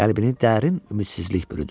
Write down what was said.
Qəlbini dərin ümidsizlik bürüdü.